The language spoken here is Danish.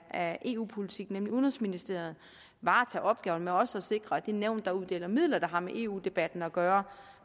af eu politik nemlig udenrigsministeriet varetage opgaven med også at sikre at det nævn der uddeler midler der har med eu debatten at gøre